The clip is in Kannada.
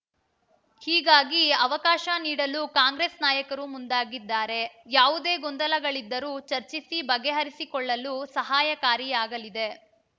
ಹೀಗಾಗಿ ಅವಕಾಶ ನೀಡಲು ಕಾಂಗ್ರೆಸ್‌ ನಾಯಕರು ಮುಂದಾಗಿದ್ದಾರೆ ಯಾವುದೇ ಗೊಂದಲಗಳಿದ್ದರೂ ಚರ್ಚಿಸಿ ಬಗೆಹರಿಸಿಕೊಳ್ಳಲು ಸಹಕಾರಿಯಾಗಲಿದೆ